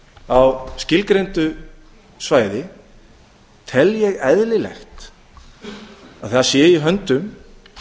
á skilgreindu svæði tel ég eðlilega að það sé í höndum